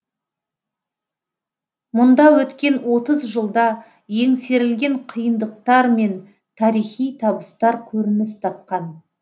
мұнда өткен отыз жылда еңсерілген қиындықтар мен тарихи табыстар көрініс тапқан